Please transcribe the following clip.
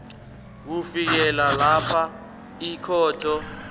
kufikela lapha ikhotho